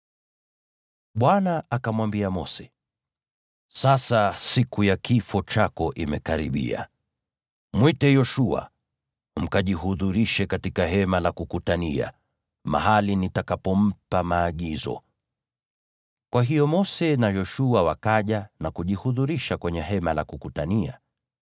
Bwana akamwambia Mose, “Sasa siku ya kifo chako imekaribia. Mwite Yoshua, mkajihudhurishe katika Hema la Kukutania, mahali nitakapompa maagizo ya kazi.” Kwa hiyo Mose na Yoshua wakaja na kujihudhurisha kwenye Hema la Kukutania.